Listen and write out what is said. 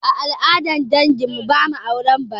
A al'adar dangin mu, ba ma auren bare